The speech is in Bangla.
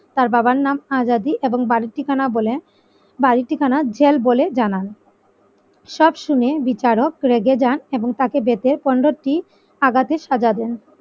তার বাবার নাম আজাদী এবং বাড়ির ঠিকানা বলে বাড়ির ঠিকানা জেল বলে জানান সব শুনে বিচারক রেগে যান এবং তাকে বেতের পনেরটি আঘাতের সাজা দেন।